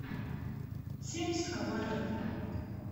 семь психопатов